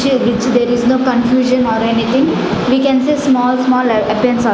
which there is no confusion or anything we can say small-small --